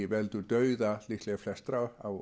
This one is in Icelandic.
veldur dauða líklega flestra á